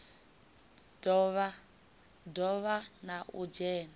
do vha na u dzhena